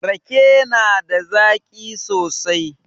Rake na da zaƙi sosai